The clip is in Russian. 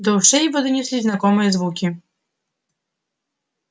до ушей его донеслись знакомые звуки